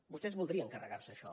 vostès voldrien carregar se això